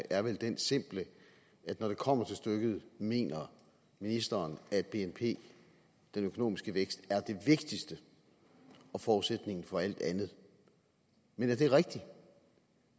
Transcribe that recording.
er vel den simple at når det kommer til stykket mener ministeren at bnp den økonomiske vækst er det vigtigste og forudsætningen for alt andet men er det rigtigt